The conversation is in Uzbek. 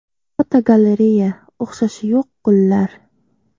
Fotogalereya: O‘xshashi yo‘q gullar.